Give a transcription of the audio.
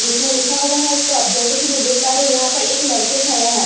इसमे लिखा हुआ है स्टॉप जैसे की मैं देख पा रही हूँ यहाँ पर एक लड़के खड़े हैं।